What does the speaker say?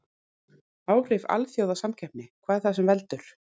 Áhrif alþjóðasamkeppni Hvað er það sem veldur?